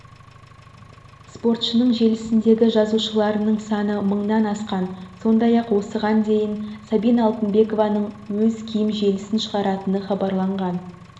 спортшының желісіндегі жазылушыларының саны мыңнан асқан сондай-ақ осыған дейінсабина алтынбекованың өз киім желісін шығаратыны хабарланған